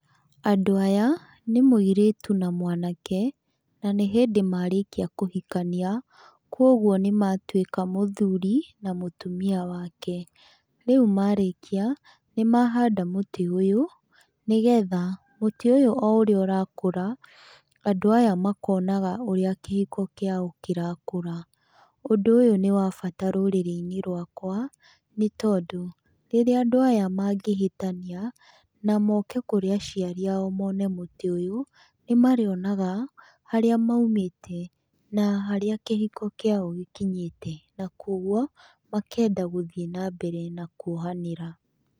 Andũ aya nĩ mũirĩtu na mwanake na nĩ hĩndĩ marĩkia kũhikania, koguo nĩ matuĩka mũthuri na mũtumia wake. Rĩu marĩkia, nĩ mahanda mũtĩ ũyũ, nĩgetha mũtĩ ũyũ o ũrĩa ũrakũra, andũ aya makonaga ũrĩa kĩhiko kĩao kĩrakũra. Ũndũ ũyũ nĩ wabata rũrĩrĩ-inĩ rwakwa, nĩ tondũ rĩrĩa andũ aya mangĩhĩtania na moke kũrĩ aciarĩ ao mone mũtĩ ũyũ, nĩmarĩonaga harĩa maumĩte na harĩa kĩhiko kĩao gĩkinyĩte, na kũoguo makenda gũthiĩ na mbere na kuohanĩra.